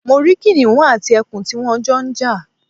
Mo rí kìnìún àti ẹkùn tí wón Jo n jà